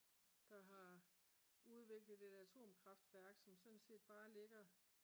der har udviklet et atomkraftværk som sådan set bare ligger